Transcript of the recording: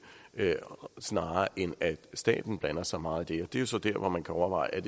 snarere end at staten blander sig meget i det det er så dér hvor man kan overveje